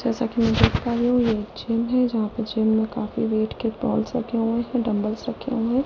जैसा कि मैं देख पा रहे हूँ ये जिम है जहां पे जिम में काफी वेट के बॉल्स रखे हुए हैंडबल्स रखे हुए हैं।